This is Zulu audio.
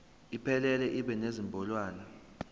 iphelele ibe nezinombolwana